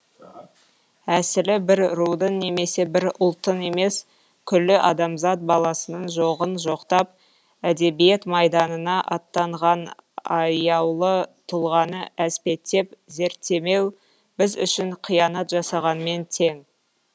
әсілі бір рудың немесе бір ұлттың емес күллі адамзат баласының жоғын жоқтап әдебиет майданына аттанған аяулы тұлғаны әспеттеп зерттемеу біз үшін қиянат жасағанмен тең